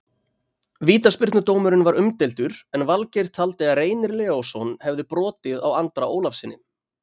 Vítaspyrnudómurinn var umdeildur en Valgeir taldi að Reynir Leósson hefði brotið á Andra Ólafssyni.